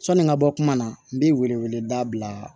Sɔni n ka bɔ kuma na n bɛ wele wele da bila